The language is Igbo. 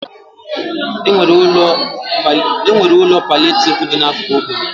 E nwere ụlọ palịetivu dị n'akụkụ ógbè m.